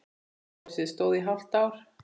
Gosið stóð í hálft ár.